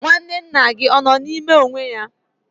Nwanne nna gị ọ nọ n'ime onwe ya?